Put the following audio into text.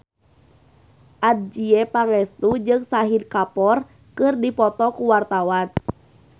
Adjie Pangestu jeung Shahid Kapoor keur dipoto ku wartawan